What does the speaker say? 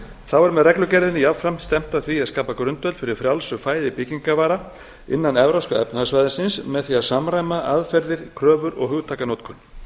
þá er með reglugerðinni jafnframt stefnt að því að skapa grundvöll fyrir frjálsu flæði byggingarvara innan evrópska efnahagssvæðisins með því að samræma aðferðir kröfur og hugtakanotkun